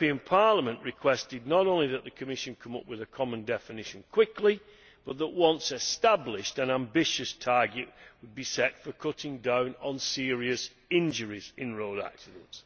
Parliament requested not only that the Commission came up with a common definition quickly but that, once established, an ambitious target would be set for cutting down on serious injuries in road accidents.